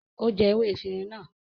Ó jẹ ewé efirin náà.